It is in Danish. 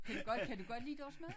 Kan du godt kan du godt lide deres mad?